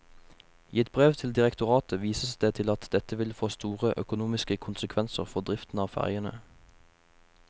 I et brev til direktoratet vises det til at dette vil få store økonomiske konsekvenser for driften av fergene.